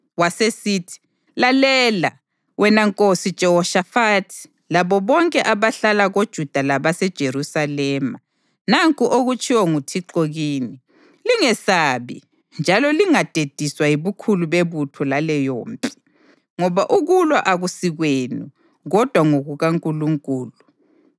Wasesithi: “Lalela, wena Nkosi Jehoshafathi labo bonke abahlala koJuda labaseJerusalema! Nanku okutshiwo nguThixo kini: ‘Lingesabi njalo lingadediswa yibukhulu bebutho laleyompi. Ngoba ukulwa akusikwenu, kodwa ngokukaNkulunkulu.